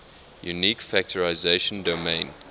unique factorization domain